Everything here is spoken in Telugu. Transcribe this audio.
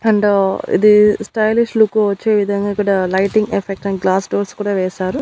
అండ్ ఇది స్టైలిష్ లుక్ వచ్చే విధంగా కుడా lighting effect and glass doors కూడా వేశారు.